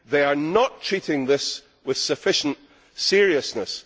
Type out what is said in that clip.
They are not treating this with sufficient seriousness.